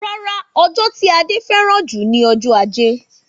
Rárá, ọjọ́ tí Ade fẹ́ràn jù ni ọjọ́ Ajé